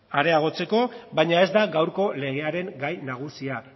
areagotzeko baina ez da gaurko legearen gai nagusia